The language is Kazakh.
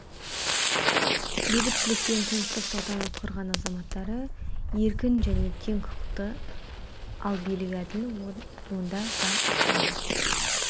бейбітшілік пен тыныштық салтанат құрған азаматтары еркін және тең құқықты ал билігі әділ онда заң үстемдік